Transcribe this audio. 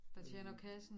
Der tjener kassen